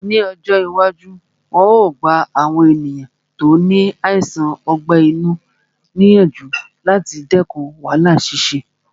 Ní ọjọ́ iwájú, wọn yóò gba àwọn ènìyàn tí ó ní àìsàn ọgbẹ́ inú ní ìyànjú láti dẹkùn wàhálà ṣíṣe